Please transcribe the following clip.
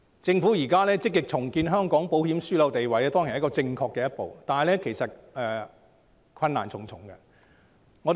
政府現在積極重建香港保險樞紐的地位，當然是正確的一步，但其實困難重重。